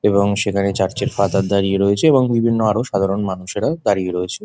এবং সেইখানে চার্চের ফাদার দাঁড়িয়ে রয়েছে এবং আরো সাধারণ মানুষেরা দাঁড়িয়ে রয়েছে।